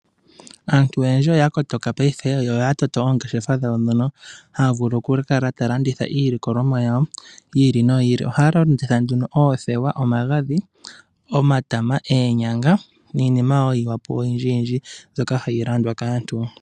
Aantu oyendji oya kototoka paife, yo oya toto oongeshefa dhawo ndhono haya vulu oku kala taya landitha iilikolomwa yawo yi ili noyi ili. Ohaya landitha nduno oothewa, omagadhi, omatama, oonyanga niinima wo yimwe po oyindji yindji mbyoka hayi landwa kaantu.